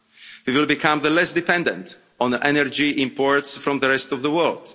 We will become less dependent on energy imports from the rest of the world.